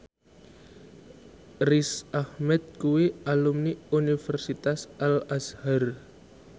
Riz Ahmed kuwi alumni Universitas Al Azhar